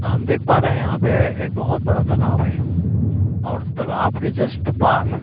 हम देख पा रहे हैं यहां पे एक बहुत बड़ा तालाब है और तालाब के जस्ट पार --